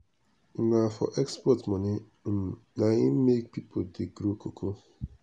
na for export money um na im make people dey grow cocoa.